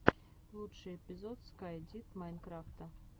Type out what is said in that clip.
лучший эпизод скай дид майнкрафта